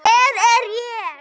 Hver er ég?